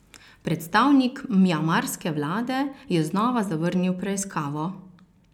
Predstavnik mjanmarske vlade je znova zavrnil preiskavo.